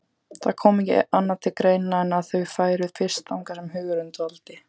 Það kom ekki annað til greina en að þau færu fyrst þangað sem hugurinn dvaldi.